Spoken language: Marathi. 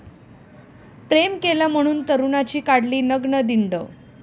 प्रेम केलं म्हणून तरुणाची काढली नग्न धिंड